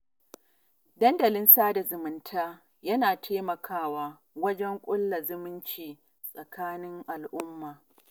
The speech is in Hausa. Dandalin sada zumunta yana taimakawa wajen ƙulla zumunci tsakanin al'umma